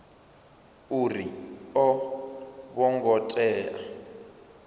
uri a vho ngo tea